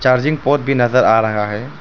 भी नज़र आ रहा है।